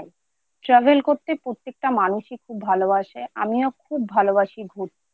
Travel করতে প্রত্যেকটা মানুষই খুব ভালবাসে। আমিও খুব ভালবাসি ঘুরতে